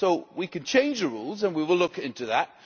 We can change the rules, and we will look into that.